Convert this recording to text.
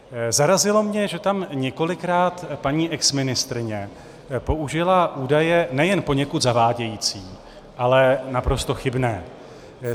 Zarazilo mě, že tam několikrát paní exministryně použila údaje nejen poněkud zavádějící, ale naprosto chybné.